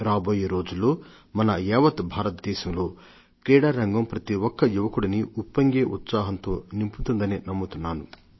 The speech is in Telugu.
రాబోయే రోజుల్లో మన యావత్ భారతదేశంలో క్రీడారంగం ప్రతిఒక్క యువకుడినీ ఉప్పొంగే ఉత్సాహంతో నింపుతుందనే నమ్ముతున్నాను